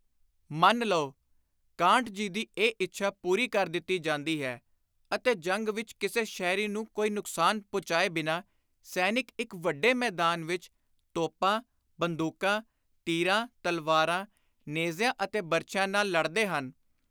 ਮੰਨ ਲਉ, ਕਾਂਟ ਜੀ ਦੀ ਇਹ ਇੱਛਾ ਪੁਰੀ ਕਰ ਦਿੱਤੀ ਜਾਂਦੀ ਹੈ ਅਤੇ ਜੰਗ ਵਿਚ ਕਿਸੇ ਸ਼ਹਿਰੀ ਨੂੰ ਕੋਈ ਨੁਕਸਾਨ ਪਹੁੰਚਾਏ ਬਿਨਾਂ ਸੈਨਿਕ ਇਕ ਵੱਡੇ ਮੈਦਾਨ ਵਿਚ ਤੋਪਾਂ, ਬੰਦੁਕਾਂ, ਤੀਰਾਂ, ਤਲਵਾਰਾਂ, ਨੇਜ਼ਿਆਂ ਅਤੇ ਬਰਛਿਆਂ ਨਾਲ ਲੜਦੇ ਹਨ।